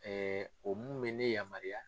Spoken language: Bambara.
o mun bɛ ne yamaruya.